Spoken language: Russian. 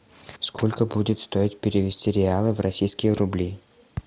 сколько будет стоить перевести реалы в российские рубли